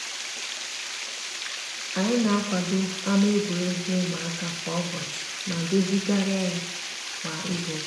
anyi n'akwado ama egwuruegwu umuaka kwa ubochi ma dozigaria ya ya kwa izuuka.